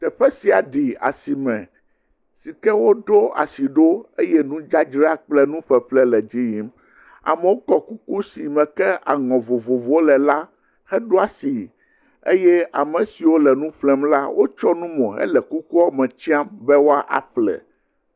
Teƒe sia ɖi asiame sike woɖo asi ɖo eye nudzadzra kple nuƒeƒle le edzi yim. Amewo kɔ kuku sime ke aŋɔ vovovowo le la heɖo asi eye amesiwo le nu ƒlem la wotsɔ nu mo hele kukua me sltsam be yewoaƒle.